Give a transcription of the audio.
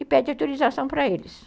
E pede autorização para eles.